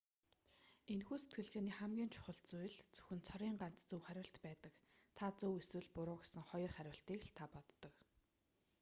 энэхүү сэтгэлгээний хамгийн чухал хүчин зүйл зөвхөн цорын ганц зөв хариулт байдаг та зөв эсвэл буруу гэсэн хоёр хариултыг л та боддог